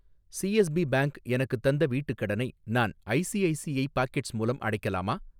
CSB bank எனக்குத் தந்த வீட்டுக் கடனை நான் ஐசிஐசிஐ பாக்கெட்ஸ் மூலம் அடைக்கலாமா?